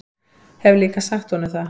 Hef líka sagt honum það.